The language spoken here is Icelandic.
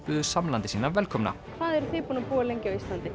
buðu samlanda sína velkomna hvað er þið búin að búa lengi á Íslandi